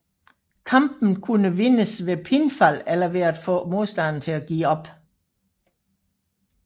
Kampen kunne vindes ved pinfall eller ved at få modstanderen til at give op